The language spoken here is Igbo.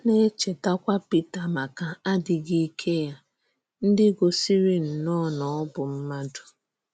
A na-echètàkwà Pítà maka àdíghì ìké ya ndị gòsìrì nnọọ na ọ bụ̀ mmádụ.